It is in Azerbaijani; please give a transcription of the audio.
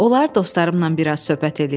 Olar dostlarımla biraz söhbət eləyim?